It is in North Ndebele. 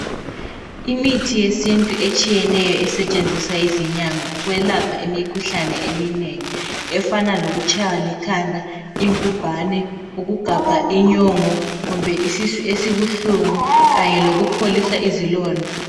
Imithi yesintu etshiyeneyo esetshenziswa yizinyanga ukwelapha imikhuhlane eminengi efana lokutshaywa likhanda, ingubhane, ukugabha inyongo kumbe isisu esibuhlungu kanye lokupholisa izilonda.